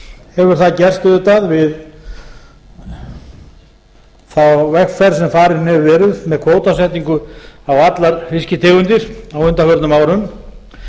hefur það gerst auðvitað við þá vegferð sem farin hefur verið með kvótasetningu á allar fisktegundir á undanförnum árum